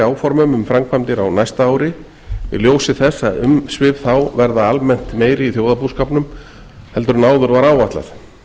áformum um framkvæmdir á næsta ári í ljósi þess að umsvif þá verða almennt meiri í þjóðarbúskapnum en áður var áætlað